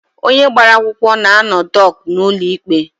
Onye agbara akwụkwọ na-anọ dọk n'ụlọ ikpe.